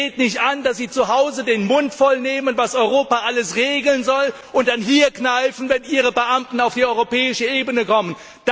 Es geht nicht an, dass sie zu Hause den Mund voll nehmen, was Europa alles regeln soll, und dann hier kneifen, wenn ihre Beamten auf die europäische Ebene kommen.